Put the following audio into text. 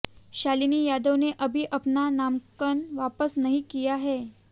शालिनी यादव ने अभी अपना नामांकन वापस नहीं लिया है